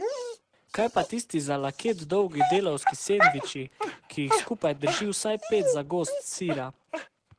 Kaj pa tisti za laket dolgi delavski sendviči, ki jih skupaj drži vsaj pet zagozd sira?